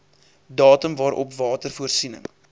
datum waarop watervoorsiening